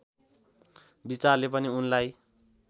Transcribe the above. विचारले पनि उनलाई